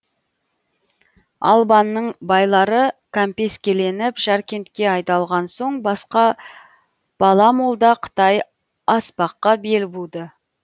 албанның байлары кәмпескеленіп жаркентке айдалған соң бала молда қытай аспаққа бел буды